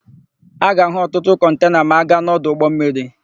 A ga-áhụ̀ ọtụtụ kọntena ma a gaa n'ọdụ ụgbọmmiri.